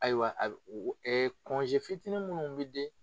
Ayiwa fitinin munnu bɛ di